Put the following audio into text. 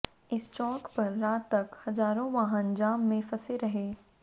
इस चौक पर रात तक हजारों वाहन जाम में फंसे रहे